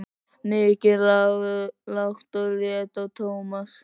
Nikki lágt og leit á Tómas.